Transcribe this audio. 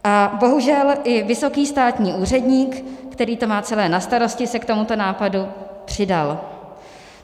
A bohužel i vysoký státní úředník, který to má celé na starosti, se k tomuto nápadu přidal.